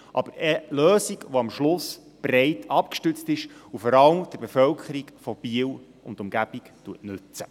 Aber es soll eine Lösung sein, die am Schluss breit abgestützt ist und vor allem der Bevölkerung von Biel und Umgebung nützt.